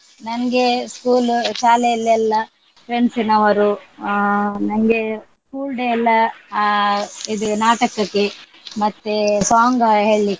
ನಂಗೆ school ಶಾಲೆಯಲ್ಲೆಲ್ಲ friends ನವರು ಅಹ್ ನಂಗೆ school day ಎಲ್ಲಾ ಅಹ್ ಇದು ನಾಟಕಕ್ಕೆ ಮತ್ತೆ song ಹೇಳ್ಲಿಕ್ಕೆ.